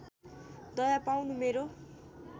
दया पाउनु मेरो